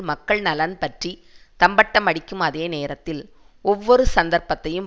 மக்கள் நலன் பற்றி தம்பட்டம் அடிக்கும் அதே நேரத்தில் ஒவ்வொரு சந்தர்ப்பத்தையும்